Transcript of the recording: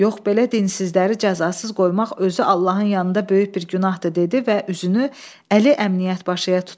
Yox, belə dinsizləri cəzasız qoymaq özü Allahın yanında böyük bir günahdır dedi və üzünü Əli Əmniyyət başıya tutdu.